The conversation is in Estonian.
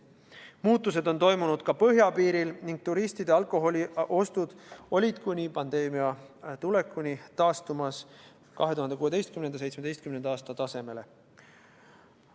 Muutused on toimunud ka põhjapiiril ning turistide alkoholiostud olid enne pandeemia tulekut taastumas 2016. ja 2017. aasta tasemele.